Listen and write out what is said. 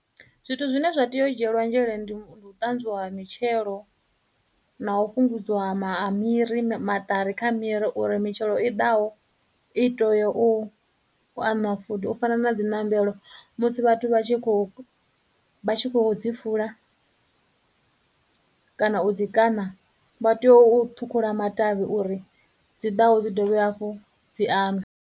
Zwithu zwine zwa tea u dzhielwa nzhele ndi u tanzwiwa ha mitshelo, na u fhungudziwa ha ma ha miri maṱari kha miri uri mitshelo i ḓaho i teya u aṅwa futhi, u fana na dziṋombelo musi vhathu vha tshi khou, vha tshi khou dzi fula kana u dzi kaṋa vha tea u ṱhukhula matavhi uri dzi ḓaho dzi dovhe hafhu dzi aṅwe.